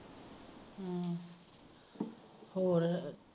ਹੋਰ